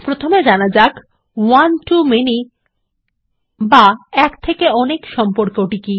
প্রথমে জানা যাক one to মানি বা এক থেকে অনেক সম্পর্কটি কি